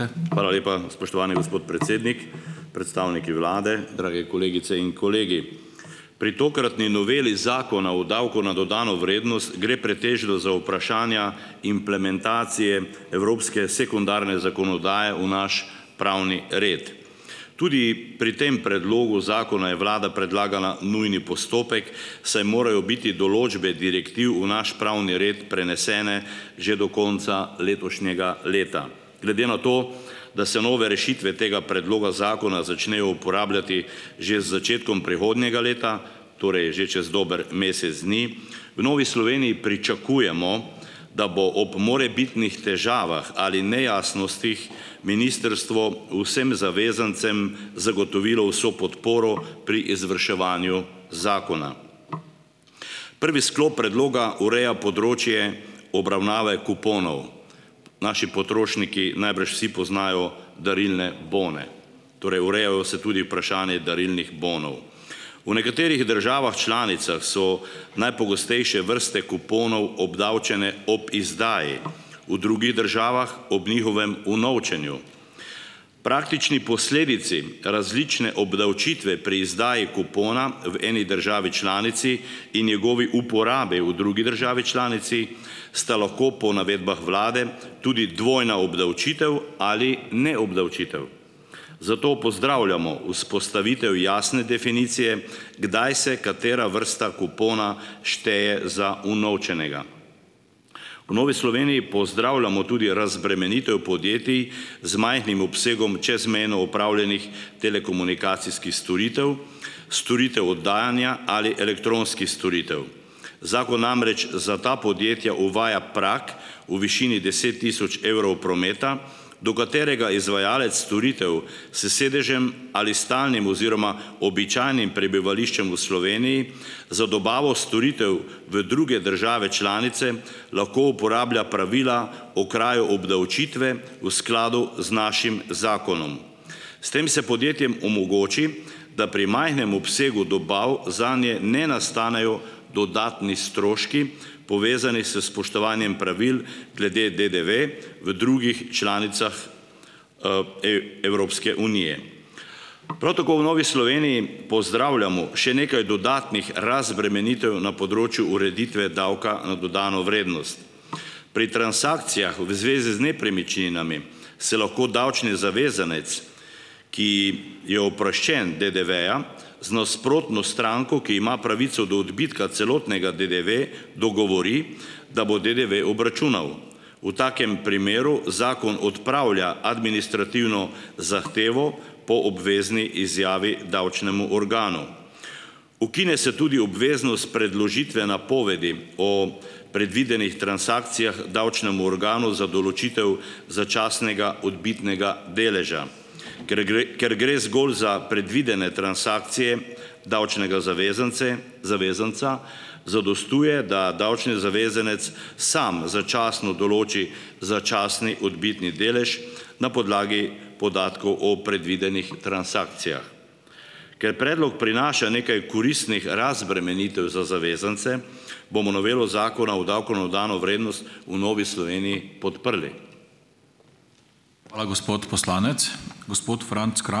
Hvala lepa, spoštovani gospod predsednik, predstavniki vlade, drage kolegice in kolegi! Pri tokratni noveli Zakona o davku na dodano vrednost gre pretežno za vprašanja implementacije evropske sekundarne zakonodaje v naš pravni red. Tudi pri tem predlogu zakona je vlada predlagala nujni postopek, saj morajo biti določbe direktiv v naš pravni red prenesene že do konca letošnjega leta. Glede na to, da se nove rešitve tega predloga zakona začnejo uporabljati že z začetkom prihodnjega leta, torej že čez dober mesec dni, v Novi Sloveniji pričakujemo, da bo ob morebitnih težavah ali nejasnostih ministrstvo vsem zavezancem zagotovilo vso podporo pri izvrševanju zakona. Prvi sklop predloga ureja področje obravnave kuponov. Naši potrošniki najbrž vsi poznajo darilne bone. Torej ureja se tudi vprašanje darilnih bonov. V nekaterih državah članicah so najpogostejše vrste kuponov obdavčene ob izdaji, v drugih državah ob njihovem unovčenju. Praktični posledici različne obdavčitve pri izdaji kupona v eni državi članici in njegovi uporabi v drugi državi članici sta lahko po navedbah vlade tudi dvojna obdavčitev ali neobdavčitev. Zato pozdravljamo vzpostavitev jasne definicije, kdaj se katera vrsta kupona šteje za unovčenega. V Novi Sloveniji pozdravljamo tudi razbremenitev podjetij z majhnim obsegom čezmejno opravljenih telekomunikacijskih storitev, storitev oddajanja ali elektronskih storitev. Zakon namreč za ta podjetja uvaja prag v višini deset tisoč evrov prometa, do katerega izvajalec storitev s sedežem ali stalnim oziroma običajnim prebivališčem v Sloveniji za dobavo storitev v druge države članice lahko uporablja pravila okrajev obdavčitve v skladu z našim zakonom. S tem se podjetjem omogoči, da pri majhnem obsegu dobav zanje ne nastanejo dodatni stroški, povezani s spoštovanjem pravil glede DDV v drugih članicah Evropske unije. Prav tako v Novi Sloveniji pozdravljamo še nekaj dodatnih razbremenitev na področju ureditve davka na dodano vrednost. Pri transakcijah v zvezi z nepremičninami se lahko davčni zavezanec, ki je oproščen DDV-ja, z nasprotno stranko, ki ima pravico do odbitka celotnega DDV dogovori, da bo DDV obračunal. V takem primeru zakon odpravlja administrativno zahtevo po obvezni izjavi davčnemu organu. Ukine se tudi obveznost predložitve napovedi o predvidenih transakcijah davčnemu organu za določitev začasnega odbitnega deleža. Ker gre, ker gre zgolj za predvidene transakcije davčnega zavezance zavezanca, zadostuje, da davčni zavezanec samo začasno določi začasni odbitni delež na podlagi podatkov o predvidenih transakcijah. Ker predlog prinaša nekaj koristnih razbremenitev za zavezance, bomo novelo Zakona o davku na dodano vrednost v Novi Sloveniji podprli.